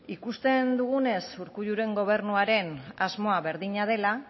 ikusten dugunez urkulluren gobernuaren asmoa berdina dela